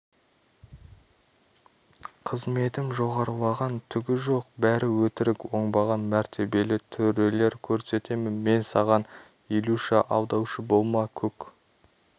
қызметім жоғарылаған түгі жоқ бәрі өтірік оңбаған мәртебелі төрелер көрсетемін мен саған илюша алдаушы болма көк